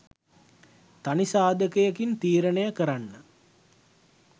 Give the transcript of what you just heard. තනි සාධකයකින් තීරණය කරන්න